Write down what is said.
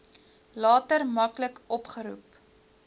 later maklik opgeroep